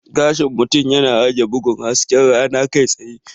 Gashin mutum yana rage bugun hasken rana kai tsaye.